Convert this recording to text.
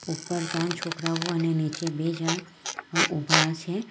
ઉપર ત્રણ છોકરાઓ અને નીચે બે જણ ઉભા છે.